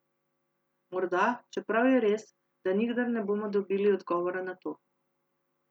Morda, čeprav je res, da nikdar ne bomo dobili odgovora na to.